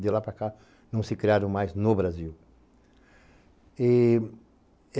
De lá para cá, não se criaram mais no Brasil.